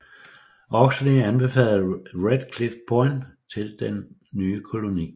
Oxley anbefalede Red Cliff Point til den nye koloni